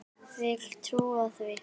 Vil trúa því.